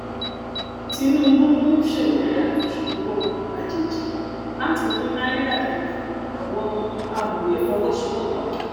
tinubu um ṣèlérí àtúnṣe owó um àjèjì láti mú náírà dágbà àwọn um amòye fọwọsowọpọ